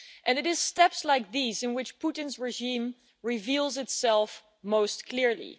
It is steps like these in which Putin's regime reveals itself most clearly.